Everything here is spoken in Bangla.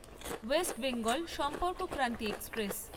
West Bengal Sampark Kranti express